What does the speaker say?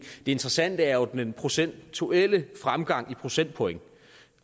det interessante er jo den procentuelle fremgang i procentpoint